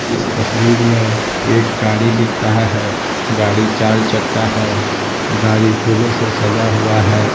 इस तस्वीर में एक गाड़ी दिख रहा है गाड़ी चार चक्का है गाड़ी फूलों से सजा हुआ है।